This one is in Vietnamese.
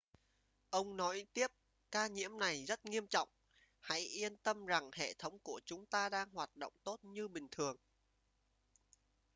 ông nói tiếp ca nhiễm này rất nghiêm trọng hãy yên tâm rằng hệ thống của chúng ta đang hoạt động tốt như bình thường